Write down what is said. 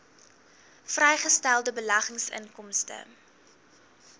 vrygestelde beleggingsinkomste